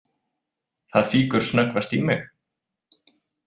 Það fýkur snöggvast í mig.